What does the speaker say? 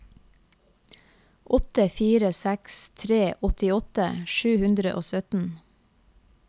åtte fire seks tre åttiåtte sju hundre og sytten